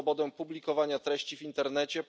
swobodę publikowania treści w internecie.